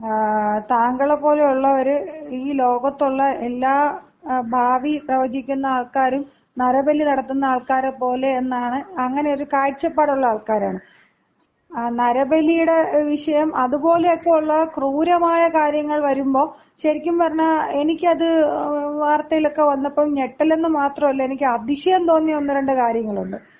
ങ്ങാ. താങ്കളെപ്പോലെ ഉള്ളവര് ഈ ലോകത്തുള്ള എല്ലാ ഭാവി പ്രവചിക്കുന്ന ആൾക്കാരും നരബലി നടത്തുന്ന ആൾക്കാരെ പോലെ എന്നാണ് , അങ്ങനെ ഒരു കാഴ്ചപ്പാടുള്ള ആൾക്കാരാണ്. നരബലിയുടെ വിഷയം അതുപോലെയൊക്കെ ഒള്ള ക്രൂരമായ കാര്യങ്ങൾ വരുമ്പോ ശരിക്കും പറഞ്ഞാ എനിക്ക് അത് വാർത്തയിലൊക്കെ വന്നപ്പോ ഞെട്ടലെന്ന് മാത്രമല്ല എനിക്ക് അതിശയം തോന്നിയ ഒന്ന് രണ്ട് കാര്യങ്ങളുണ്ട്.